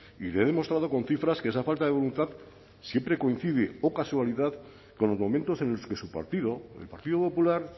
y le demostrado con cifras que esa falta de voluntad siempre coincide o casualidad con los momentos en los que su partido el partido popular